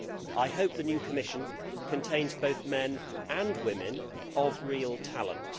I hope that the new Commission contains both men and women of real talent.